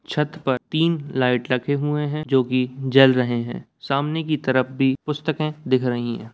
छत पर तीन लाइट लगे हुए हैं जो कि जल रहे हैं सामने की तरफ भी पुस्तके दिख रही हैं।